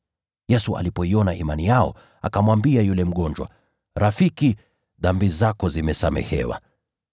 Yesu alipoiona imani yao, akamwambia yule mgonjwa, “Rafiki, dhambi zako zimesamehewa.”